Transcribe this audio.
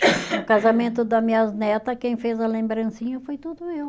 No casamento da minhas neta, quem fez a lembrancinha foi tudo eu.